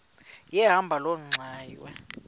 yahamba loo ngxwayi